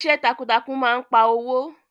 Iṣẹ́ takuntakun máa n pa owó.